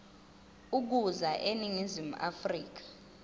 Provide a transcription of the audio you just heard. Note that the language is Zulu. ukuza eningizimu afrika